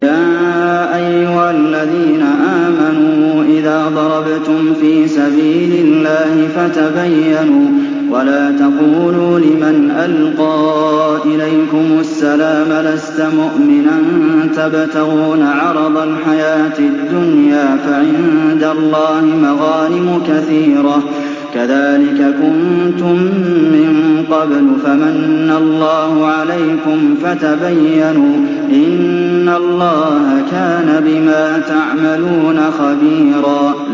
يَا أَيُّهَا الَّذِينَ آمَنُوا إِذَا ضَرَبْتُمْ فِي سَبِيلِ اللَّهِ فَتَبَيَّنُوا وَلَا تَقُولُوا لِمَنْ أَلْقَىٰ إِلَيْكُمُ السَّلَامَ لَسْتَ مُؤْمِنًا تَبْتَغُونَ عَرَضَ الْحَيَاةِ الدُّنْيَا فَعِندَ اللَّهِ مَغَانِمُ كَثِيرَةٌ ۚ كَذَٰلِكَ كُنتُم مِّن قَبْلُ فَمَنَّ اللَّهُ عَلَيْكُمْ فَتَبَيَّنُوا ۚ إِنَّ اللَّهَ كَانَ بِمَا تَعْمَلُونَ خَبِيرًا